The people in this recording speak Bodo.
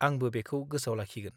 आंबो बेखौ गोसोआव लाखिगोन।